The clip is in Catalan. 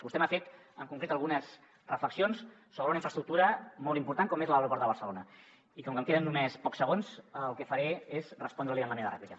vostè m’ha fet en concret algunes reflexions sobre una infraestructura molt important com és l’aeroport de barcelona i com que em queden només pocs segons el que faré és respondre li en la meva rèplica